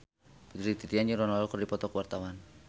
Putri Titian jeung Ronaldo keur dipoto ku wartawan